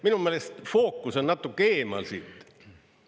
Minu meelest fookus on natuke eemal, siit.